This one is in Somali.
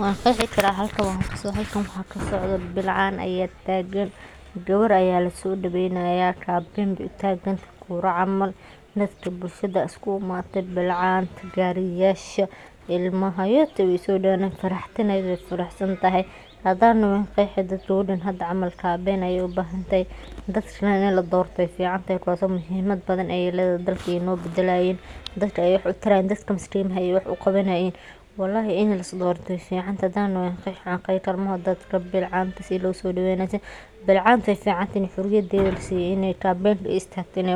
Wan qeexi kara waxa halkan kasocdo bilcan aya tagan gawar aya lasodaweynaya kabin be utagan tahay kura camal ayey utagaan tahay dadka bulshaada aya iskugu imadhen bilcanta gariyasha ilmaha yote we sodaweyni hayan wey faraxsantahay hadan doho wan qeexi hada camal gewertan kabin ayey ubahantahay dad fican in ee dortan muhimad fican ayey ledhahay dadka ayey wax utarayin dadka maskimaha ayey wax uqawanayin walahi in lasdorto wey ficantahy hadii an daho wan qeexi wax laqeexi karo